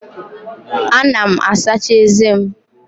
Ana m asacha eze m.